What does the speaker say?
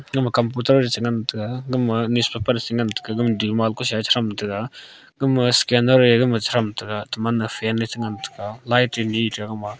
gama computer ye chi ngantaga gama newspaper chinganta gama dima kosa ye chi thamtaga gama scanner ye gama chi thamtaga gatoman fan ye chi ngantaga light ye nita gama a.